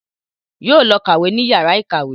Yóò lọ kàwé ní yàrá ìkàwé